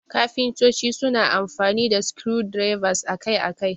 Kafintoci suna amfani da screwdrivers akai-akai.